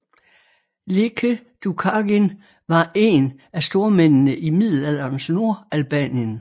Lekë Dukagjin var én af stormændene i middelalderens Nordalbanien